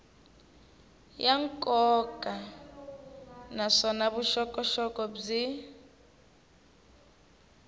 ya nkoka naswona vuxokoxoko byi